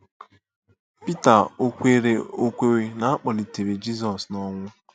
Pita ò kweere ò kweere na a kpọlitere Jizọs n'ọnwụ?